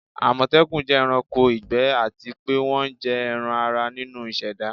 amotekun jẹ ẹranko igbẹ ati pe wọn jẹ ẹran-ara ninu iseda